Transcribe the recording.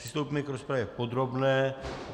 Přistoupíme k rozpravě podrobné.